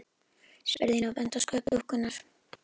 spurði Ína og benti á sköp dúkkunnar.